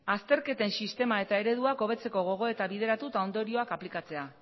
azterketen sistema eta ereduak hobetzeko gogoeta bideratu eta ondorioak aplikatzea